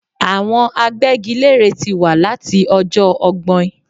Àwọn agbégilére tí wà láti ọjọ́ ọgbọ́in